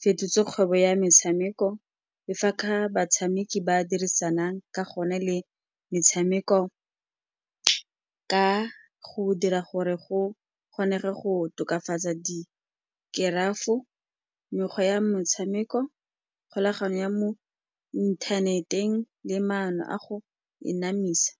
fetotse kgwebo ya metshameko, le fa ka fa batshameki ba dirisanang ka gone le metshameko, ka go dira gore go kgonege go tokafatsa dikerafo, mekgwa ya motshameko, kgolagano ya mo inthaneteng le maano a go e anamisa.